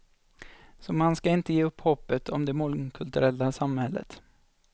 Så man ska inte ge upp hoppet om det mångkulturella samhället.